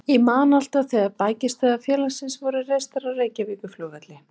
Ég man alltaf þegar bækistöðvar félagsins voru reistar á Reykjavíkurflugvelli.